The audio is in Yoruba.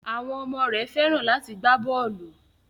Àwọn ọmọ rẹ Fẹ́ràn láti gbá bọ́ọlù.